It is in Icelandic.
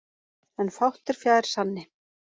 En fátt er fjær sanni.